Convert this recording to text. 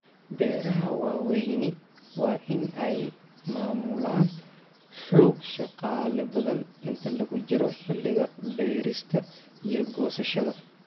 Beeraha waaweyni waa in ay maamulaan xoog shaqaale badan inta lagu jiro xilliga beerista iyo goosashada.